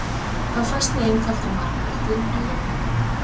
Þá fæst með einfaldri margföldun á jöfnunni